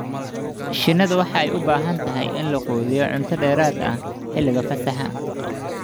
Shinnidu waxay u baahan tahay in la quudiyo cunto dheeraad ah xilliga fasaxa.